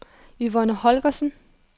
Yvonne Holgersen